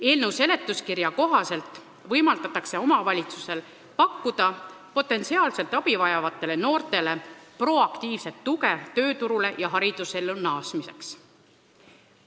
Eelnõu seletuskirja kohaselt võimaldatakse omavalitsusel pakkuda potentsiaalselt abi vajavatele noortele proaktiivset tuge tööturule ja haridusellu naasmiseks.